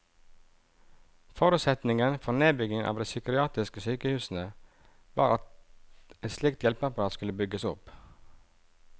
Forutsetningen for nedbyggingen av de psykiatriske sykehusene var at et slikt hjelpeapparat skulle bygges opp.